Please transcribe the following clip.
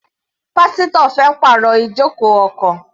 Pásítọ̀ fẹ́ pàrọ̀ ijoko ọkọ̀.